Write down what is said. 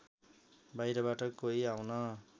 बाहिरबाट कोही आउन